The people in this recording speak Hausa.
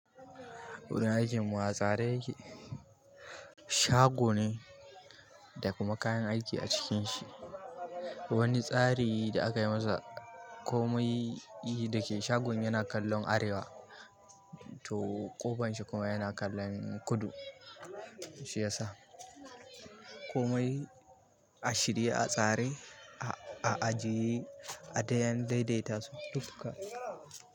Wurin aikin mu a tsare yake shago ne da kuma kayan aiki a cikin shi. Wani tsari da aka yi masa komai yake da shagon yana kallon arewa to ƙofan shi kuma yana kallon kudu. Shi yasa komai a shirye, a tsare, a ajiye a dayen daidaitasu duka.